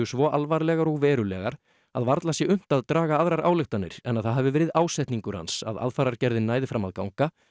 svo alvarlegar og verulegar að varla sé unnt að draga aðrar ályktanir en það hafi verið ásetningur hans að aðfarargerðin næði fram að ganga